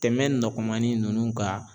tɛmɛn nɔgɔmanin ninnu kan.